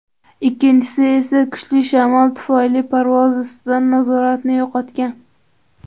Ikkinchisi esa kuchli shamol tufayli parvoz ustidan nazoratni yo‘qotgan.